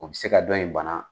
O bɛ se ka dɔ in bana